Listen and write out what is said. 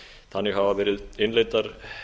þannig hafa verið innleiddar